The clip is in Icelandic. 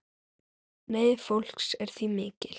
Neyð fólks er því mikil.